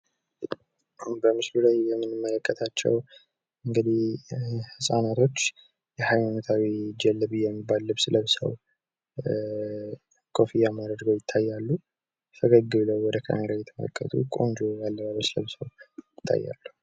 እዚህ በምስሉ ላይ የምንመከታቸው ህጻናቶች እንግዲህ ሃይማኖታዊ ልብስ ለብሰው፣ ኮፍያም አድርገው ይታያሉ። ፈገግ ብለው ወደ እየተመለከቱ ቆንጆ የአለባበስ ልብስ ለብሰው ይታያሉ።